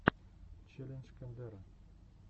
челлендж кендера